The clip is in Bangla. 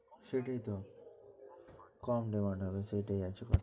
সেটাই তো কম demand হবে সেটাই আছে তো